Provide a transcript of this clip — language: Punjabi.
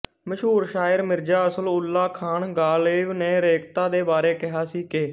ਮਸ਼ਹੂਰ ਸ਼ਾਇਰ ਮਿਰਜ਼ਾ ਅਸਦ ਉੱਲ੍ਹਾ ਖ਼ਾਨ ਗ਼ਾਲਿਬ ਨੇ ਰੇਖ਼ਤਾ ਦੇ ਬਾਰੇ ਕਿਹਾ ਸੀ ਕਿ